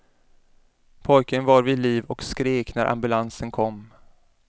Pojken var vid liv och skrek när ambulansen kom.